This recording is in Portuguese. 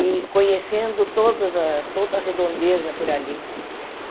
e conhecendo todas a toda a redondeza por ali.